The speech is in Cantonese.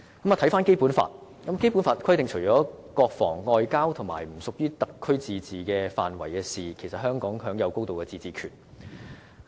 回頭看《基本法》，它規定除了國防、外交和不屬於特區自治範圍的事務之外，香港享有"高度自治權"。